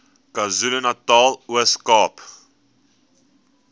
kwazulunatal ooskaap